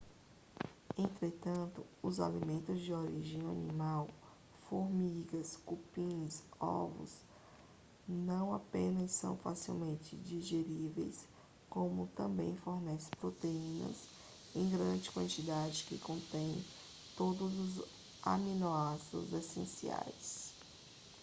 entretanto os alimentos de origem animal formigas cupins ovos não apenas são facilmente digeríveis como também fornecem proteínas em grande quantidade que contêm todos os aminoácidos essenciais